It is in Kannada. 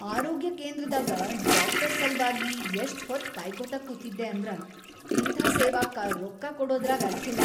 ಆರೋಗ್ಯ ಕೇಂದ್ರದಾಗ ಡಾಕ್ಟರ್‌ ಸಲ್ವಾಗಿ ಯಷ್ಟಹೊತ್‌ ಕಾಯ್ಕೋತ ಕೂತಿದ್ದೆ ಅಂದ್ರ ಇಂಥಾ ಸೇವಾಕ್ಕ ರೊಕ್ಕಾ ಕೊಡದ್ರಾಗ್ ಅರ್ಥಿಲ್ಲ.